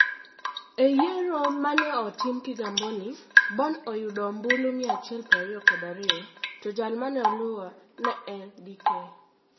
E yiero ma ne otim Kigamboni, Bobn oyudo ombulu 122, to jal ma ne oloye ne en Dk.